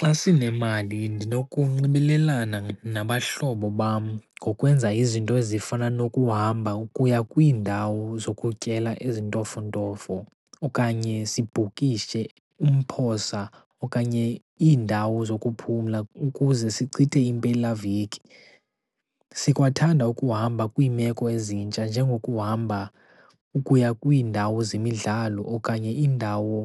Xa sinemali ndinokunxibelelana nabahlobo bam ngokwenza izinto ezifana nokuhamba ukuya kwiindawo zokutyela ezintofontofo, okanye sibhukishe umphosa okanye iindawo zokuphumla ukuze sichithe impelaveki. Sikwathanda ukuhamba kwiimeko ezintsha njengokuhamba ukuya kwiindawo zemidlalo okanye iindawo